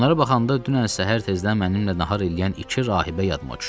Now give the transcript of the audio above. Onlara baxanda dünən səhər tezdən mənimlə nahar eləyən iki rahibə yadıma düşdü.